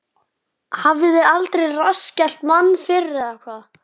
Hafiði aldrei rassskellt mann fyrr, eða hvað?